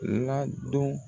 Ladon.